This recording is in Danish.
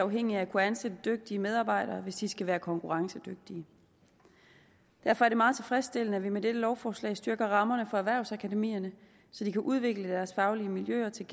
afhængige af at kunne ansætte dygtige medarbejdere hvis de skal være konkurrencedygtige derfor er det meget tilfredsstillende at vi med dette lovforslag styrker rammerne for erhvervsakademierne så de kan udvikle deres faglige miljøer til